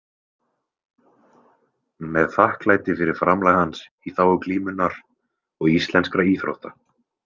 Með þakklæti fyrir framlag hans í þágu glímunnar og íslenskra íþrótta.